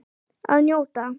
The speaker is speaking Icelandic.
Að njóta.